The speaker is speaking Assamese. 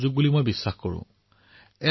এই উৎসৱ নতুন সিদ্ধান্তৰ উৎসৱ